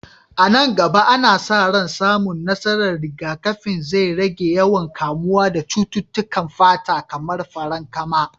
A nan gaba, ana sa ran samun nasarar rigakafin zai rage yawan kamuwa da cututtukan fata kamar farankama.